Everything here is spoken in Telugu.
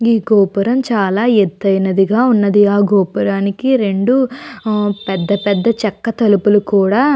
ఈ గోపురం చాల ఏతైనది గా ఉంది ఆ గోపురానికి రెండు పెద్ద పెద్ద చెక్క తలుపులు కూడా --